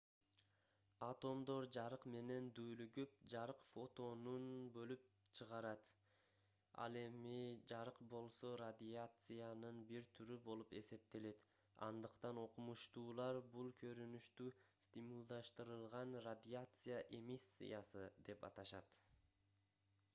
атомдор жарык менен дүүлүгүп жарык фотонун бөлүп чыгарат ал эми жарык болсо радиациянын бир түрү болуп эсептелет андыктан окумуштуулар бул көрүнүштү стимулдаштырылган радиация эмиссиясы деп аташат